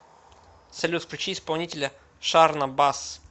салют включи исполнителя шарна басс